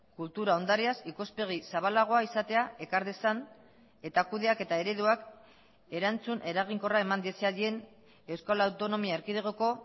kultura ondareaz ikuspegi zabalagoa izatea ekar dezan eta kudeaketa ereduak erantzun eraginkorra eman diezaien euskal autonomia erkidegoko